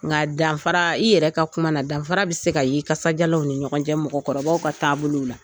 Nka danfara i yɛrɛ ka kuma na danfara bɛ se ka ye kasadiyalanw ni ɲɔgɔn cɛ mɔgɔkɔrɔbaw ka taabolow la